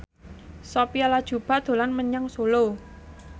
Sophia Latjuba dolan menyang Solo